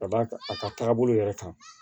Ka d'a kan a ka taabolo yɛrɛ kan